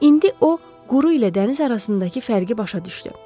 İndi o quru ilə dəniz arasındakı fərqi başa düşdü.